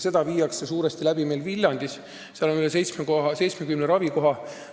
Seda tehakse meil suuresti Viljandis, kus on üle 70 ravikoha.